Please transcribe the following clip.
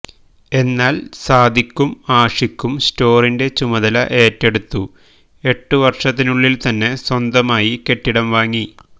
എന്നാല് സാദിഖും ആഷിഖും സ്റ്റോറിന്റെ ചുമതല ഏറ്റെടുത്തു എട്ടു വര്ഷത്തിനുള്ളില്ത്തന്നെ സ്വന്തമായി കെട്ടിടം വാങ്ങി